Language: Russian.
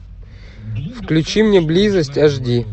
включи мне близость аш ди